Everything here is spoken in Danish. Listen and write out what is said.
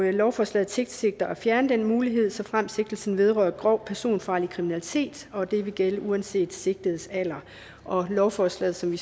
lovforslaget tilsigter at fjerne den mulighed såfremt sigtelsen vedrører grov personfarlig kriminalitet og det vil gælde uanset den sigtedes alder lovforslaget som